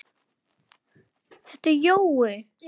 Þetta er Jói!